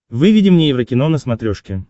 выведи мне еврокино на смотрешке